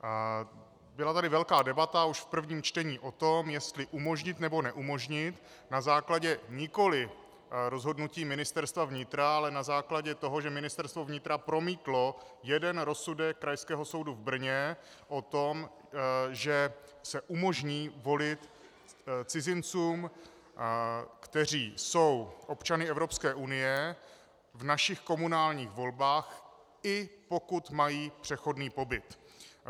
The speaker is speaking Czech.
Byla tady velká debata už v prvním čtení o tom, jestli umožnit, nebo neumožnit na základě nikoliv rozhodnutí Ministerstva vnitra, ale na základě toho, že Ministerstvo vnitra promítlo jeden rozsudek Krajského soudu v Brně o tom, že se umožní volit cizincům, kteří jsou občany Evropské unie, v našich komunálních volbách, i pokud mají přechodný pobyt.